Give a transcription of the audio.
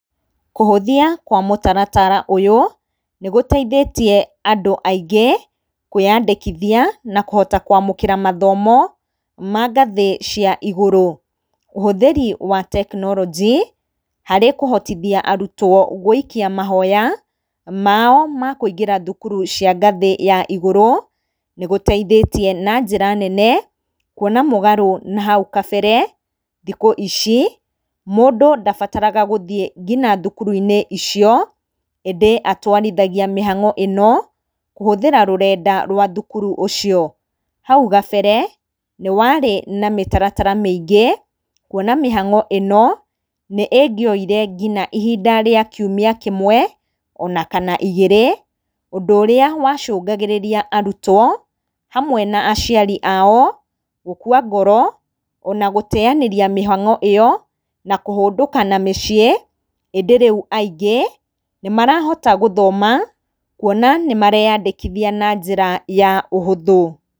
Kũhũthia kwa mũtaratara ũyũ, nĩ gũteithĩtie andũ aingĩ kwĩyandĩkithia na kũhota kũamũkĩra mathomo ma ngathĩ cia igũrũ. Ũhũthĩri wa tekinoronjĩ, harĩ kũhotithia arutwo gũikia mahoya mao ma kũingĩra thukuru cia ngathĩ ya igũrũ, nĩgũteithĩtie na njĩra nene kuona mũgarũ na hau kabere, thikũ ici, mũndũ ndabataraga gũthiĩ ngina thukuru icio ĩndĩ atwarithagia mĩhang'o ĩno kũhũthĩra rũrenda rwa thukuru ũcio. Hau kabere nĩ warĩ na mĩtaratara mĩingĩ kuona mĩhang'o ĩno nĩngĩoire nginya ihinda rĩa kiumia kĩmwe ona kana igĩr,ĩ ũndũ ũrĩa wacũngagĩrĩria arutwo hamwe na aciari ao gũkũa ngoro, ona gũteyanĩria mĩhang'o ĩyo, na kũhũndũka na mũciĩ ĩndĩ rĩu aingĩ nĩmarahota gũthoma kuona nĩmareyandĩkithia na njĩra ya ũhũthũ.